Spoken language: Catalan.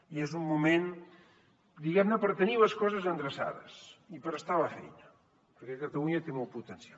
i és un moment diguem ne per tenir les coses endreçades i per estar a la feina perquè catalunya té molt potencial